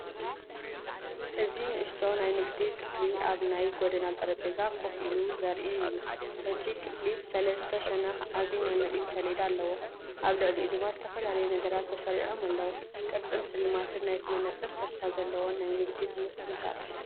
እዚ ንእሽቶ ናይ ንግዲ ክፍሊ ኣብ ናይ ጎደና ጠረጴዛ ኮፍ ኢሉ ዘርኢ እዩ። እቲ ክፍሊ ብሰለስተ ሸነኽ ዓቢ ናይ ምርኢት ሰሌዳ ኣለዎ፣ ኣብ ልዕሊኡ ድማ ዝተፈላለዩነገራት ተሰሪዖም ኣለዉ። ቅርጽን ስልማትን ናይቲ መነጽር ተስፋ ዘለዎ ናይ ንግዲ ትምህርቲ ይዛረብ።